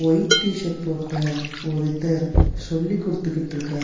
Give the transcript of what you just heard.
White T shirt போட்ட ஒருத்தர் சொல்லிக் குடுத்துக்கிட்டு இருக்கார்--.